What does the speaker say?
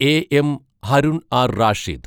A. M. Harun R Rashid